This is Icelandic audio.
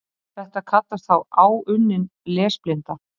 Þetta kallast þá áunnin lesblinda.